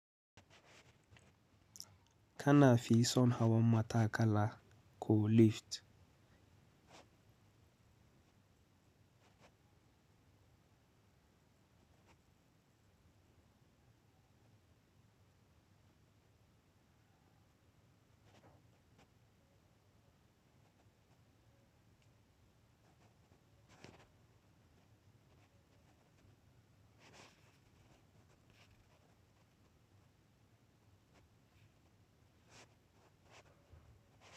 Ka na fi son hawa matakala ko lift.